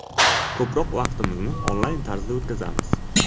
Ko‘proq vaqtimizni onlayn tarzda o‘tkazamiz.